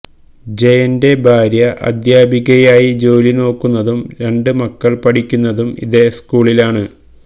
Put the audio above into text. ജയന്റെ ഭാര്യ അധ്യാപികയായി ജോലി നോക്കുന്നതും രണ്ട് മക്കൾ പഠിക്കുന്നതും ഇതേ സ്കൂളിലാണ്